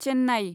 Chennai